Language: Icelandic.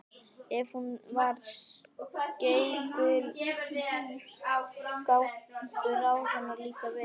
Ef hún var skeikul gátu ráð hennar líka verið það.